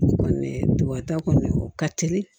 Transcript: O kɔni ta kɔni o ka telin